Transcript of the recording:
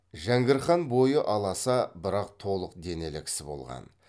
жәңгір хан бойы аласа бірақ толық денелі кісі болған